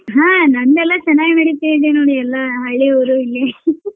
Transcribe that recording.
ಹಾ ನಂದ್ ಎಲ್ಲಾ ಚನಾಗ್ ನಡೀತಾ ಇದೆ ನೋಡಿ ಎಲ್ಲಾ ಹಳ್ಳಿ ಊರು ಹಿಂಗೆ